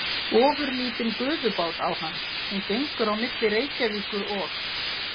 Ofurlítinn gufubát á hann, sem gengur á milli Reykjavíkur og